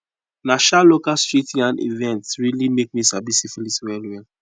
na um local street yarn events really make me sabi syphilis well well